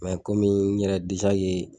Mɛ kɔmi n yɛrɛ deza ke